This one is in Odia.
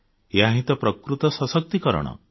ଏହାହିଁ ତ ପ୍ରକୃତ ସଶକ୍ତିକରଣ